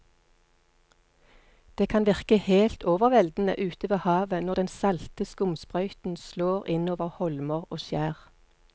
Det kan virke helt overveldende ute ved havet når den salte skumsprøyten slår innover holmer og skjær.